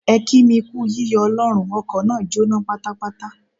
Ẹ kí mi kú yíyọ Ọlọ́run, ọkọ̀ náà jóná pátápátá.